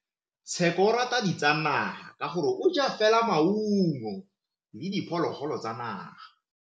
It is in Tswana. Tshekô o rata ditsanaga ka gore o ja fela maungo le diphologolo tsa naga.